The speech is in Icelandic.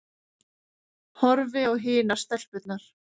Horfi á hinar stelpurnar.